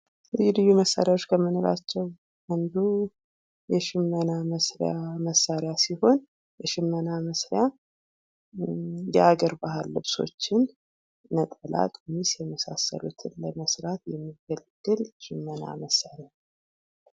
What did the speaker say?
ልዩ ልዩ መሳሪያዎች ክምንላቸው አንዱ የሽመና መስሪያ መሳሪያ ሲሆን ፤ በሽመና መስሪያ የአገር ባህል ልብሶችን ነጠላ ፣ ቀሚስ የሚሳሳለትን ለመሥራት የሚያገለግል ሽመና መሳሪያ ነው።